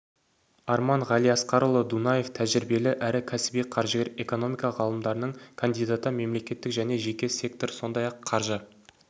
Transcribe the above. арман ғалиасқарұлы дунаев тәжірибелі әрі кәсіби қаржыгер экономика ғылымдарының кандидаты мемлекеттік және жеке сектор сондай-ақ қаржы